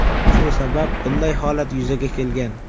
Shu sabab bunday holat yuzaga kelgan.